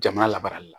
Jamana labaarali la